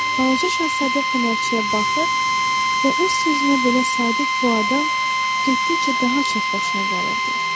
Balaca şahzadə fənərçiyə baxır və öz sözünə belə sadiq bu adam getdikcə daha çox xoşuna gəlirdi.